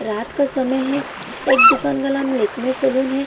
रात का समय है एक दुकान का नाम लेक्मे सैलून है।